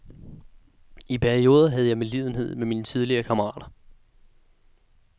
I perioder havde jeg medlidenhed med mine tidligere kammerater.